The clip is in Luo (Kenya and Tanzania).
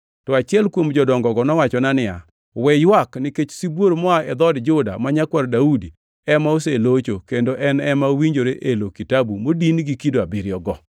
To achiel kuom Jodongogo nowachona niya, “We ywak! Nikech Sibuor moa e dhood Juda ma Nyakwar Daudi ema oselocho kendo en ema owinjore elo kitabu modin gi kido abiriyogo.”